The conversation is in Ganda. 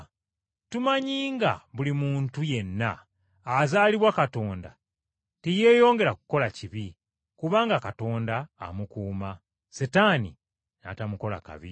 Tumanyi nga buli muntu yenna azaalibwa Katonda teyeeyongera kukola kibi, kubanga Katonda amukuuma, Setaani n’atamukola kabi.